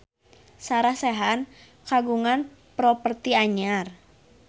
Sarah Sechan kagungan properti anyar